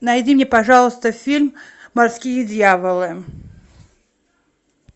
найди мне пожалуйста фильм морские дьяволы